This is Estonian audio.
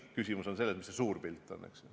Küsimus on selles, mis on see suur pilt, eks.